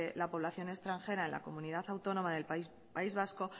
la población extranjera en la comunidad autónoma del país vasco